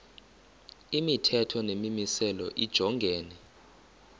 imithetho nemimiselo lijongene